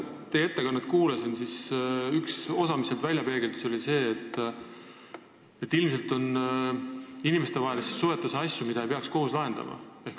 Kui ma teie ettekannet kuulasin, siis üks sõnum, mis sealt välja peegeldus, oli see, et inimestevahelistes suhetes on küsimusi, mida ei peaks kohus lahendama.